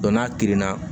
n'a kirinna